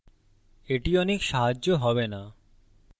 এটি অনেক সাহায্য হবে না